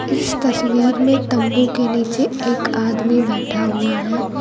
इस तस्वीर में तंबू के नीचे एक आदमी बैठा हुआ है।